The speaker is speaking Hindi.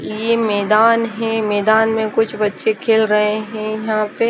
ये मैदान है मैदान में कुछ बच्चे खेल रहे हैं यहां पे--